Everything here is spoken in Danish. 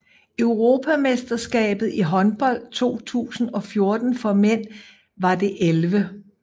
Europamesterskabet i håndbold 2014 for mænd var det 11